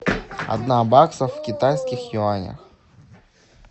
одна бакса в китайских юанях